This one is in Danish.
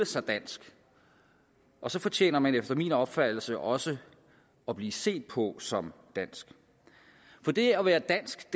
sig dansk og så fortjener man efter min opfattelse også at blive set på som dansk for det at være dansk